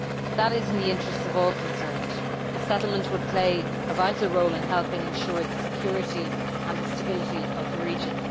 that is in the interests of all concerned. A settlement would play a vital role in helping ensure the security and the stability of the region.